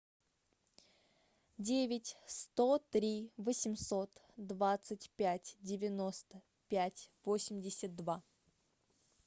девять сто три восемьсот двадцать пять девяносто пять восемьдесят два